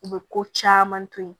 U bɛ ko caman to yen